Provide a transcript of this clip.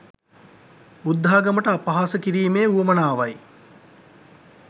බුද්ධාගමට අපහාස කිරිමේ උවමනාවයි